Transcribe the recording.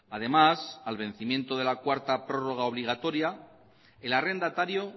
además al vencimiento de la cuarta prórroga obligatoria el arrendatario